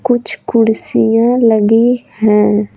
कुछ कुर्सियाँ लगी है।